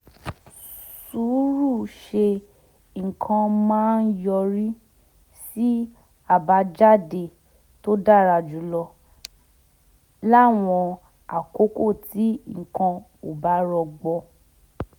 sùúrù ṣe nǹkan máa ń yọrí sí àbájáde tó dára jù lọ láwọn àkókò tí nǹkan ò bá rọgbọ